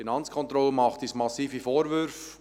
Die Finanzkontrolle macht uns massive Vorwürfe: